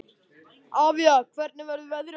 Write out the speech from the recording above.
Avía, hvernig verður veðrið á morgun?